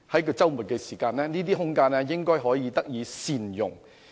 在周末的時候，這些空間應該可以得以善用。